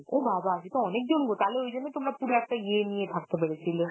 ও বাবা! সেতো অনেক জনগো, তাহলে ওই জন্যই তোমরা পুরো একটা ইয়ে নিয়ে থাকতে পেরেছিলে.